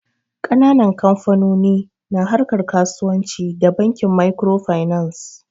Ƙananan kamfanoni na harkar kasuwanci da Bankin Makirofainans.